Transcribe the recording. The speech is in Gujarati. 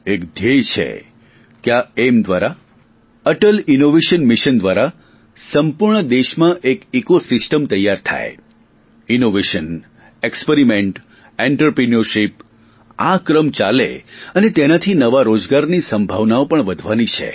એક ધ્યેય છે કે આ એઇમ દ્વારા અટલ ઇનોવેશન મિશન દ્વારા સંપૂર્ણ દેશમાં એક ઇકો સિસ્ટમ તૈયાર થાય ઇનોવેશન એક્સપરીમેન્ટ એન્ટરપ્રિન્યોરશિપ આ ક્રમ ચાલે અને તેનાથી નવા રોજગારની સંભાવનાઓ પણ વધવાની છે